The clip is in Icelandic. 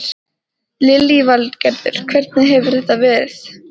Lillý Valgerður: Hvernig hefur þetta verið?